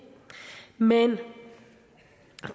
men